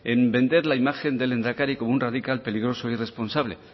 en vender la imagen del lehendakari como un radical peligroso e irresponsable